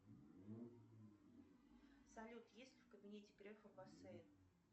салют есть в кабинете грефа бассейн